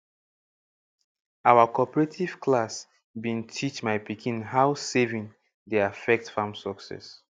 our cooperative class bin teach my pikin how saving dey affect farm success